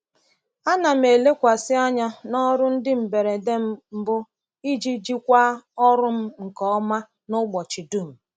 Ana m elekwasị anya n’ọrụ ndị mberede mbụ iji jikwaa ọrụ m nke ọma n’ụbọchị dum.